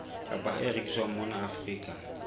kapa e rekiswang mona afrika